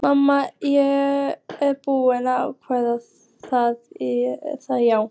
Mamma er búin að ákveða það, já.